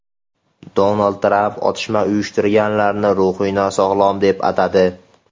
Donald Tramp otishma uyushtirganlarni ruhiy nosog‘lom deb atadi.